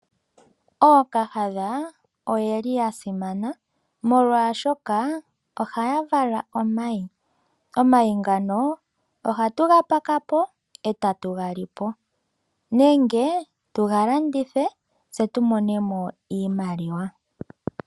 Ookahadha oyeli yasimana molwashoka ohaya vala omayi. Omayi ngano ohatu ga pakao etatu ga lipo. Nenge tuga landithe tse tu monemo iimaliwa.